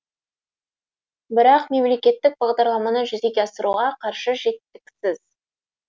бірақ мемлекеттік бағдарламаны жүзеге асыруға қаржы жеткіліксіз